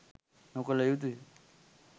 නොකළ යුතුය.